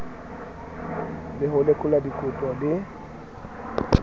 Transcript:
ha re lekola dikopo le